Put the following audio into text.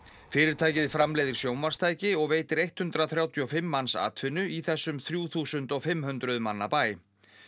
fyrirtækið framleiðir sjónvarpstæki og veitir hundrað þrjátíu og fimm manns atvinnu í þessum þrjú þúsund og fimm hundruð manna bæ